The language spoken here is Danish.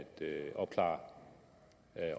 opklare